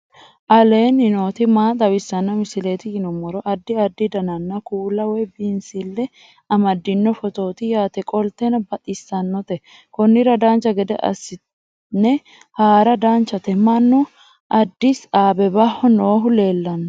aleenni nooti maa xawisanno misileeti yinummoro addi addi dananna kuula woy biinsille amaddino footooti yaate qoltenno baxissannote konnira dancha gede assine haara danchate mannu adisi abebaho noohu lelanno